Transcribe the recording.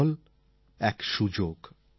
football এক সুযোগ